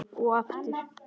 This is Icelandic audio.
Og aftur.